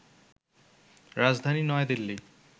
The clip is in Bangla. রাজধানী নয়াদিল্লি